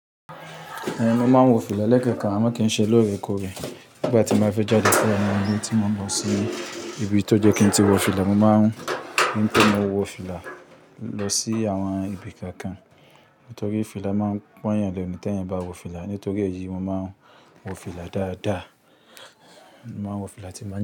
Ehn, mo máa ń wọ fìlà lẹ́kànkan, àmọ́ kì í ṣe lóòrèkóòrè. Nígbà tí n bá fẹ́ jáde tí a wà ńnú lé ti mò ń lọ si ibi tó jẹ́ kí n ti wọ fìlà, mo ma ń ri pé mọ wọ fìlà lọ sí àwọn ibì kọ̀ọ̀kan. Nítorí fìlà máa ń pọ́n yàn léni t'éèyàn bá wọ fìlà. Nítorí èyí, mo máa ń wọ fìlà dáadáa. Mo máa ń wọ fìlà tí n bá ń.